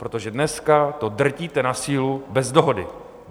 Protože dneska to drtíte na sílu bez dohody.